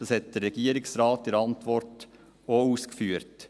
Das hat der Regierungsrat in seiner Antwort auch ausgeführt.